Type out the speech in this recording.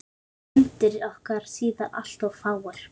Fundir okkar síðar alltof fáir.